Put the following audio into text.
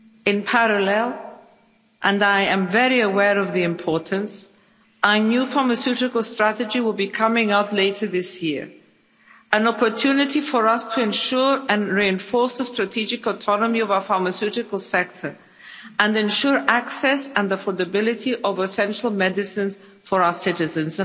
In parallel, and I am very aware of the importance, our new Pharmaceutical Strategy will be coming later this year an opportunity for us to ensure and reinforce the strategic autonomy of our pharmaceutical sector and ensure access and affordability of essential medicines for our citizens.